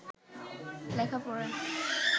লেখাপড়া